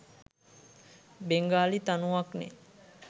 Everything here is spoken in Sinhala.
බෙන්ගාලි තනුවක්නේ.